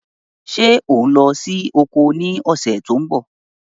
Ṣé ò ń lọ sí oko ní ọ̀sẹ̀ tó ń bọ̀?